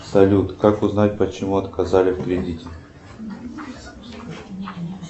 салют как узнать почему отказали в кредите